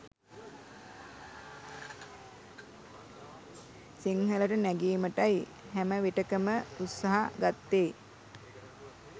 සිංහලට නැගීමටයි හැම විටකම උත්සහ ගත්තේ